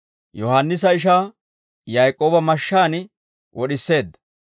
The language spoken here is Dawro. Yohaannisa ishaa Yaak'ooba mashshaan wod'iseedda.